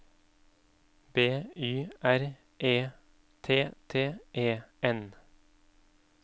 B Y R E T T E N